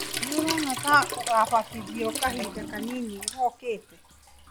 Nĩũrona ta ũgabatithio kahinda kanini gookĩte?